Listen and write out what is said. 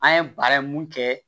An ye baara in mun kɛ